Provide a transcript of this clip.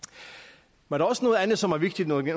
men også noget andet som er vigtigt når det